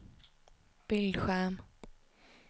bildskärm